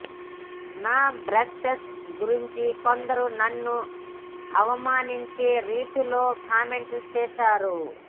నా బ్రెస్ట్స్ గురించి కొందరు నన్ను అవమానించే రీతిలో కామెంట్లు చేశారు